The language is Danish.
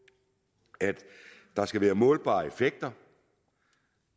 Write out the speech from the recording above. at der skal være målbare effekter